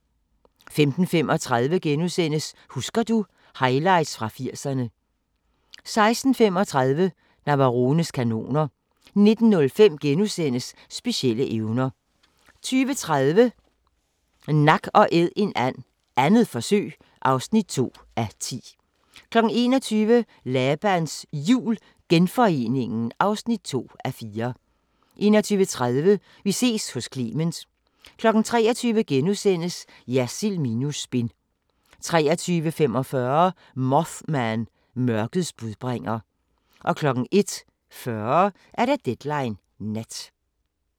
15:35: Husker du ... Highlights fra 80'erne * 16:35: Navarones kanoner 19:05: Specielle evner * 20:30: Nak & æd en and - 2. forsøg (2:10) 21:00: Labans Jul – Genforeningen (2:4) 21:30: Vi ses hos Clement 23:00: Jersild minus spin * 23:45: Mothman – Mørkets budbringer 01:40: Deadline Nat